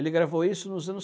Ele gravou isso nos anos